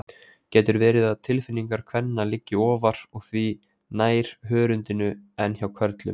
Getur verið að tilfinningar kvenna liggi ofar og því nær hörundinu en hjá körlum?